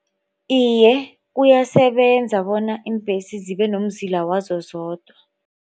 Iye kuyasebenza bonyana iimbhesi zibe nomzila wazo zodwa